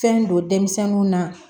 Fɛn don denmisɛnninw na